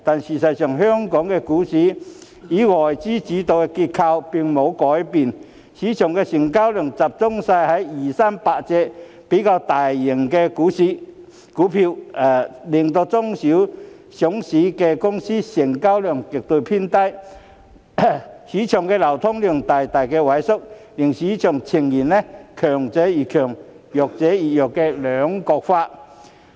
事實上，香港股市以外資主導的結構並沒有改變，市場的成交量集中在二三百隻市值最大的股份，令中小型上市公司成交額偏低，市場流通量大大萎縮，市場呈現強者越強，弱者越弱的兩極分化。